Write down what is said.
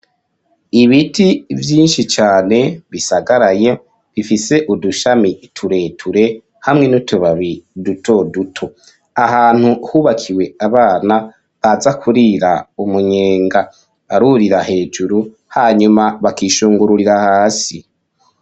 Ibiti vyinshi cane bisagaraye, bifise udushami tureture hamwe n'utubabi dutoduto. Ahantu hubakiwe abana baza kurira umunyenga. Barurira hejuru, hanyuma bakishungururira hasi.